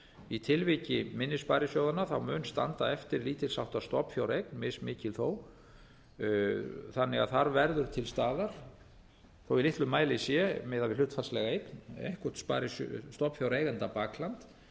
í tilviki minni sparisjóðanna mun standa eftir lítils háttar stofnfjáreign mismikil þó þannig að þar verður til staðar þó í litlum mæli sé miðað við hlutfallslega eign eitthvert stofnfjáreigenda bakland